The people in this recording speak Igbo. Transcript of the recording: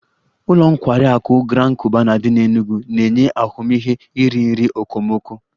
Ụlọ nkwari akụ Grand Cubana dị n'Enugwu na-enye ahụmịhe iri nri okomoko